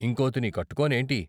ఇంకోతిని కట్టుకోనేంటి?